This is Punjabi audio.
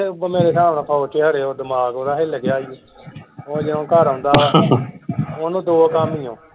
ਮੇਰੇ ਹਿਸਾਬ ਨਾਲ ਫੋਜ ਚ ਖਰੇ ਦਿਮਾਗ ਓਹਦਾ ਹਿਲ ਗਿਆ ਸੀ ਉਹ ਜਦੋ ਘਰ ਆਉਂਦਾ ਓਹਨੂੰ ਦੋ ਕੰਮ ਹੀ ਹੈ।